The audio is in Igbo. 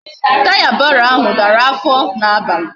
Taya barrow ahu dara afo na abali